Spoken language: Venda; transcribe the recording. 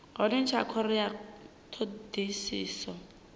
hone tsha khoro ya thodisiso